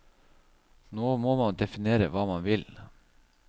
Nå må man definere hva man vil.